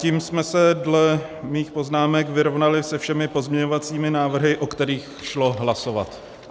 Tím jsme se dle mých poznámek vyrovnali se všemi pozměňovacími návrhy, o kterých šlo hlasovat.